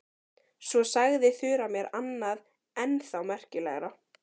Svo sagði Þura mér annað enn þá merkilegra.